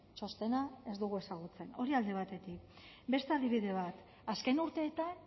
txostena ez dugu ezagutzen hori alde batetik beste adibide bat azken urteetan